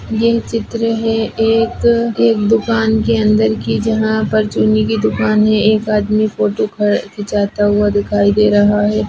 ये चित्र है एक एक दुकान के अंदर की जहां पर चुन्नी की दुकान है एक आदमी फोटो ख खिचाता हुआ दिखाई दे रहा है।